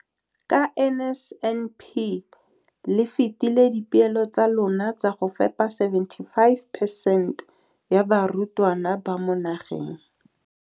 Ka NSNP le fetile dipeelo tsa lona tsa go fepa masome a supa le botlhano a diperesente ya barutwana ba mo nageng.